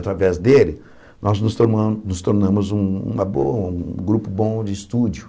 Através dele, nós nos torna nos tornamos um uma boa um grupo bom de estúdio.